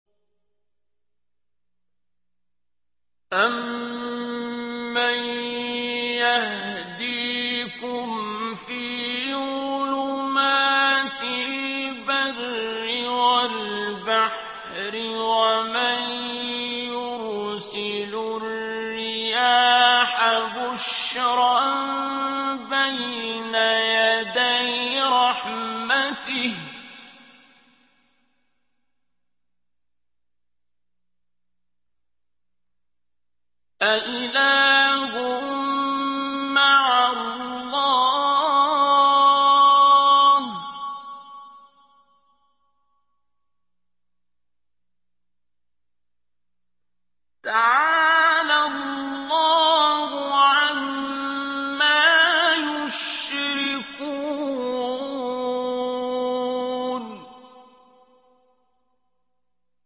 أَمَّن يَهْدِيكُمْ فِي ظُلُمَاتِ الْبَرِّ وَالْبَحْرِ وَمَن يُرْسِلُ الرِّيَاحَ بُشْرًا بَيْنَ يَدَيْ رَحْمَتِهِ ۗ أَإِلَٰهٌ مَّعَ اللَّهِ ۚ تَعَالَى اللَّهُ عَمَّا يُشْرِكُونَ